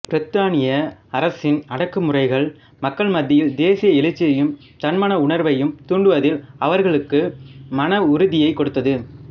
பிரித்தானிய அரசின் அடக்கு முறைகள் மக்கள் மத்தியில் தேசிய எழுச்சியையும் தன்மான உணர்வையும் தூண்டுவதில் அவர்களுக்கு மன உறுதியைக் கொடுத்தது